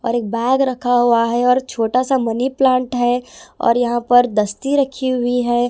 और एक बैग रखा हुआ है और छोटा सा मनी प्लांट है और यहां पर दस्ती रखी हुई है।